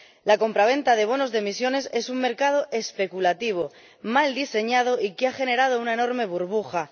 La compraventa de bonos de emisiones es un mercado especulativo, mal diseñado y que ha generado una enorme burbuja.